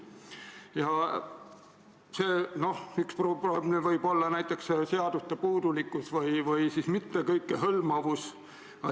Ja üks probleem võib olla seaduste puudulikkus või mitte kõikehõlmavus.